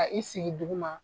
Ka i sigi duguma